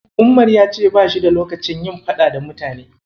Umar ya ce bashi da lokacin yin faɗa da mutane.